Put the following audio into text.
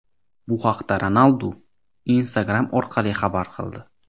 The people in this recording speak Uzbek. Bu haqda Ronaldu Instagram orqali xabar qildi.